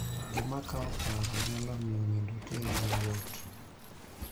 Gima kawo paro nyalo miyo nindo teri mayot.